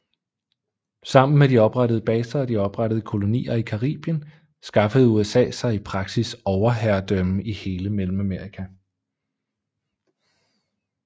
Sammen med de oprettede baser og de oprettede kolonier i Caribien skaffede USA sig i praksis overherredømme i hele Mellemamerika